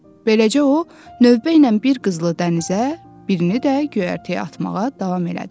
Beləcə o növbə ilə bir qızılı dənizə, birini də göyərtəyə atmağa davam elədi.